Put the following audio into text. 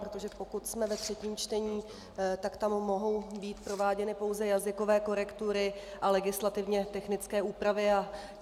Protože pokud jsme ve třetím čtení, tak tam mohou být prováděny pouze jazykové korektury a legislativně technické úpravy.